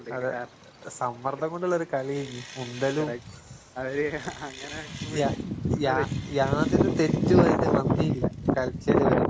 അതെ. സമ്മർദ്ദം കൊണ്ടൊള്ളൊരു കളിയേഞ്ഞ് യ യാ യാതൊരു തെറ്റുവതില് വന്നീല കളിച്ചേലിവര്.